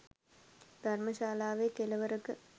ධර්ම ශාලාවේ කෙළවරක